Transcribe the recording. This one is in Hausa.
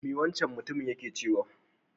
Me wancan mutumin yake cewa?